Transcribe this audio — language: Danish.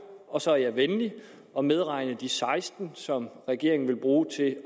og så er jeg venlig og medregner de seksten som regeringen vil bruge til at